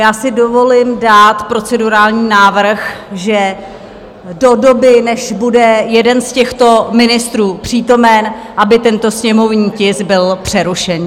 Já si dovolím dát procedurální návrh, že do doby, než bude jeden z těchto ministrů přítomen, aby tento sněmovní tisk byl přerušen.